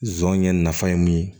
Zon ye nafa ye mun ye